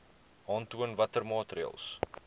aantoon watter maatreëls